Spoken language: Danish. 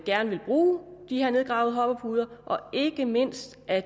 gerne vil bruge de her nedgravede hoppepuder og ikke mindst at